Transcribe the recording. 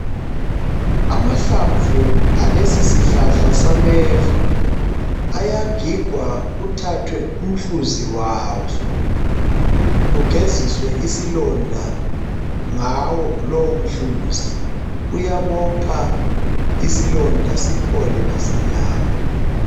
Amahlamvu alesi sihlahla sameva ayagigwa kuthathwe umhluzi waso kugeziswe isilonda ngawo lowo mhluzi. Kuyabopha isilonda siphole masinyane.